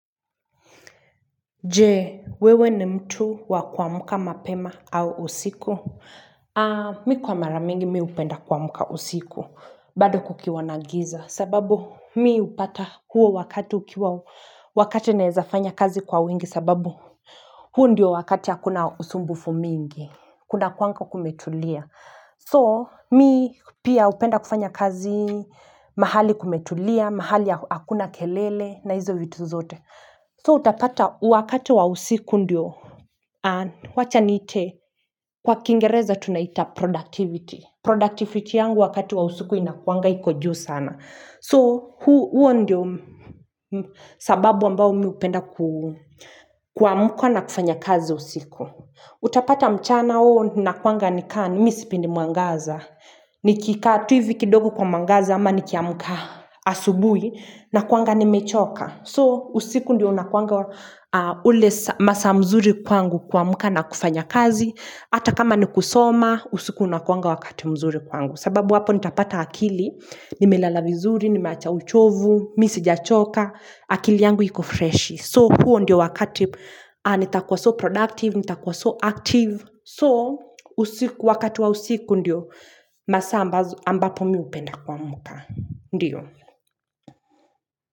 Jee, wewe ni mtu wakuamka mapema au usiku? Mi kwa maramingi mi upenda kuamka usiku, bado kukiwa nagiza. Sababu mi upata huo wakati wakati naezafanya kazi kwa wingi sababu huu ndio wakati hakuna usumbufu mingi, kuna kwanga kumetulia. So, mi pia upenda kufanya kazi mahali kumetulia, mahali ya hakuna kelele na hizo vitu zote. So utapata wakati wa usiku ndio, wacha niite, kwa kingereza tunaita productivity. Productivity yangu wakati wa usiku inakuanga iko juu sana. So huo ndio sababu ambao miupenda kuamka na kufanya kazi usiku. Utapata mchana uo na kuanga ni kaa ni misipendi muangaza. Nikikaa tu hivi kidogo kwa mwangaza ama nikiamuka asubui na kuanga ni mechoka. So, usiku ndiyo unakuanga ule masaa mzuri kwangu kuamuka na kufanya kazi. Ata kama ni kusoma, usiku unakuanga wakati mzuri kwangu. Sababu hapo nitapata akili, nimelala vizuri, nimeacha uchovu, misi jachoka, akili yangu yiko fresh. So, huo ndiyo wakati nitakuwa so productive, nitakuwa so active. So, usiku wakati wa usiku ndiyo masaa ambapo miupenda kuamuka. Ndiyo.